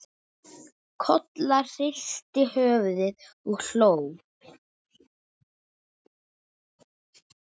Kolla hristi höfuðið og hló.